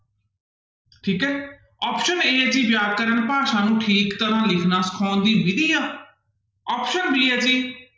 ਠੀਕ ਹੈ option a ਹੈ ਜੀ ਵਿਆਕਰਨ ਭਾਸ਼ਾ ਨੂੰ ਠੀਕ ਤਰ੍ਹਾਂ ਲਿਖਣਾ ਸਿਖਾਉਣ ਦੀ ਵਿੱਧੀ ਆ option b ਹੈ ਜੀ